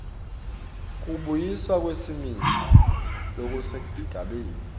kubuyiswa kwesimilo lokusesigabeni